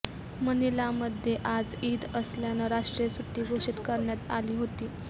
मनीलामध्ये आज ईद असल्यानं राष्ट्रीय सुट्टी घोषित करण्यात आली होती